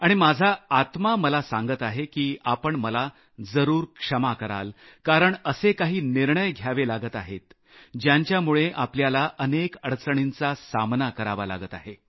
आणि माझा आत्मा मला सांगत आहे की आपण मला जरूर क्षमा कराल कारण असे काही निर्णय घ्यावे लागत आहेत ज्यांच्यामुळे आपल्याला अनेक अडचणींचा सामना करावा लागत आहे